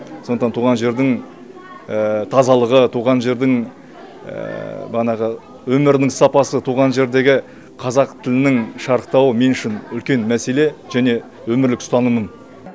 сондықтан туған жердің тазалығы туған жердің банағы өмірдің сапасы туған жердегі қазақ тілінің шарықтауы мен үшін үлкен мәселе және өмірлік ұстанымым